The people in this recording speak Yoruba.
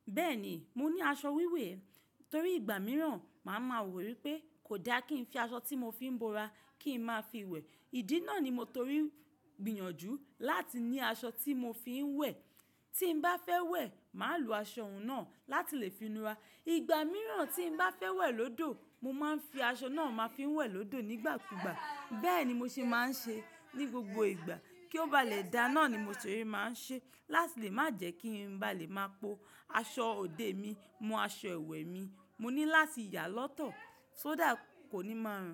Bẹ́ẹ̀ni, mo ní aṣọ wíwẹ̀ torí ìgbà mìíràn màá ma rò wípé kò da kí ń fi aṣọ tí mo fi ń bora kí ń má fi wẹ̀. Ìdí náà ni mo torí gbìyànjú láti ní aṣọ tí mo fi ń wẹ̀. Tí n bá fẹ́ wẹ̀, máa lo aṣọ òun náà láti lè finura. Ìgbà mìíràn tí n bá fẹ́ wẹ̀ lọ́dọ̀, mo máa ń fi aṣọ náà máa fi ń wẹ̀ lọ́dọ̀ nígbàkúgbà. Bẹ́ẹ̀ ni mo ṣe máa ń ṣe ní gbogbo ìgbà. Kí ó ba lè da náà ni mo ṣè máa ń ṣe láti lè má jẹ́ kí n bá lè máa po aṣọ òde mi mọ aṣọ ẹwẹ̀ mi. Mo ní láti yá lọ́tọ̀, só dà kò ní máa rùn.